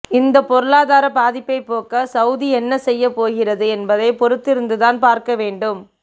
இந்த பொருளாதார பாதிப்பை போக்க சவுதி என்ன செய்ய போகிறது என்பதை பொறுத்திருந்தான் பார்க்க வேண்டும்